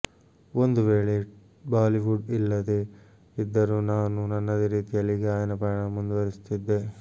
ಒಂದು ವೇಳೆ ಬಾಲಿವುಡ್ ಇಲ್ಲದೇ ಇದ್ದರೂ ನಾನು ನನ್ನದೇ ರೀತಿಯಲ್ಲಿ ಗಾಯನ ಪಯಣ ಮುಂದಿವರಿಸಿರುತ್ತಿದ್ದೆ